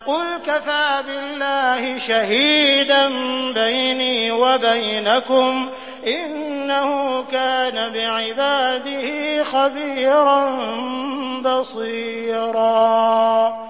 قُلْ كَفَىٰ بِاللَّهِ شَهِيدًا بَيْنِي وَبَيْنَكُمْ ۚ إِنَّهُ كَانَ بِعِبَادِهِ خَبِيرًا بَصِيرًا